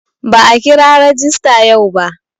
Ba'a kira rajista yau ba.